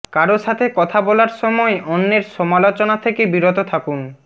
কারো সাথে কথা বলার সময় অন্যের সমালোচনা থেকে বিরত থাকুন